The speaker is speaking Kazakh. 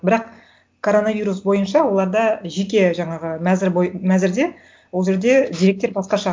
бірақ коронавирус бойынша оларда жеке жаңағы мәзір мәзірде ол жерде деректер басқаша